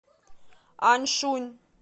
аньшунь